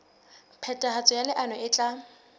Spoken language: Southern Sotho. phethahatso ya leano e tla